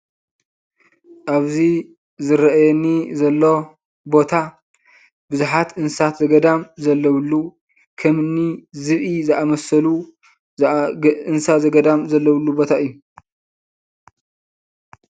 ኣብዚ ዝረአየኒ ዘሎ ቦታ ብዙሓት እንስሳት ዘገዳም ዘለውሉ ከምኒ ዝብኢ ዝኣመሰሉ ዘኣ እንስሳ ዘገዳም ዘለውሉ ቦታ እዩ፡፡